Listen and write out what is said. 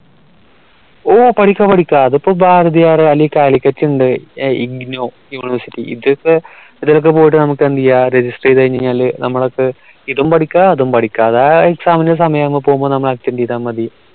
ഓ പഠിക്കാ പഠിക്കാ അതിപ്പോ Bharathiar calicut and IGNOU University ഇത് ഇപ്പൊ ഇതിലൊക്കെ പോയിട്ട് നമുക് എന്തെയ്യ register ചെയ്ത കഴിഞാൽ നമുക്കിതും പഠിക്കാം അതും പഠിക്കാം അത് ആ exam ന്റെ സമയമാകുമ്പോ പോയി നമ്മൾ attend ചെയ്ത മതി